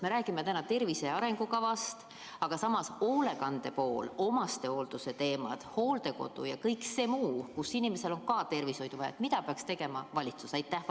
Me räägime täna tervise arengukavast, aga samas hoolekande pool, omastehoolduse teemad, hooldekodu ja kõik see muu, kus inimesel on ka tervishoidu vaja – mida peaks tegema valitsus?